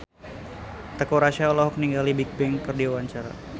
Teuku Rassya olohok ningali Bigbang keur diwawancara